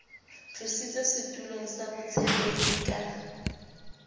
tlositswe setulong sa botshepehi ka